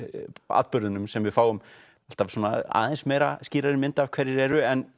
atburðunum sem við fáum alltaf aðeins meira skýrari mynd af hverjir eru en